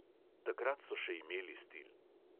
Takrat so še imeli stil.